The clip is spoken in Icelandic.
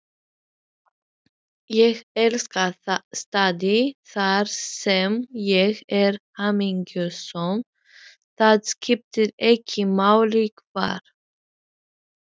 Uppáhalds staðurinn þinn í öllum heiminum?